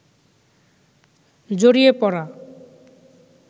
জড়িয়ে পড়া